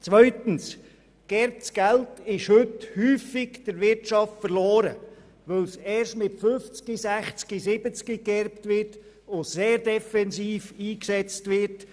Zweitens: Das Geld ist häufig für die Wirtschaft verloren, weil die Leute erst mit 50, 60 oder 70 Jahren erben und die Mittel dann sehr defensiv einsetzen.